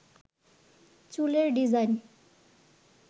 চুলের ডিজাইন